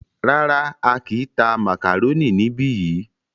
Rárá,á kìí tá màkàrónì níbi yìí.